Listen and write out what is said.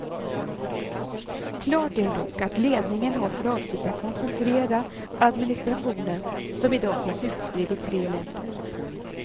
Klart är dock att ledningen har för avsikt att koncentrera administrationen, som i dag finns utspridd i tre länder.